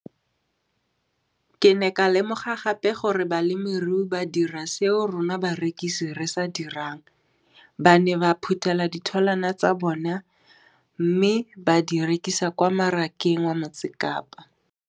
Ke ne ka lemoga gape gore balemirui ba dira seo rona barekisi re se dirang - ba ne ba phuthela ditholwana tsa bona mme ba di rekisa kwa marakeng wa Motsekapa.